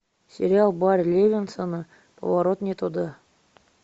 сериал барри левинсона поворот не туда